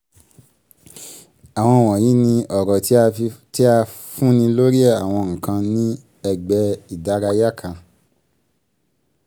ìtọ́ka: àwọn wọ̀nyí ni ọ̀rọ̀ tí a fúnni lórí àwọn nǹkan ní ẹ̀gbẹ́ ìdárayá kan.